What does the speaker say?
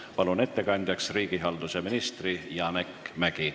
Palun ettekandeks kõnetooli riigihalduse ministri Janek Mäggi.